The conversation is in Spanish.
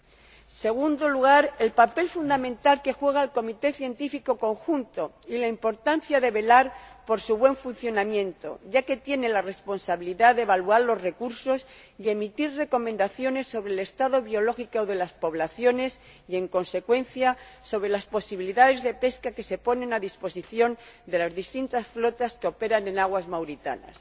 En segundo lugar, el papel fundamental que desempeña el comité científico conjunto y la importancia de velar por su buen funcionamiento, ya que tiene la responsabilidad de evaluar los recursos y emitir recomendaciones sobre el estado biológico de las poblaciones y, en consecuencia, sobre las posibilidades de pesca que se ponen a disposición de las distintas flotas que operan en aguas mauritanas.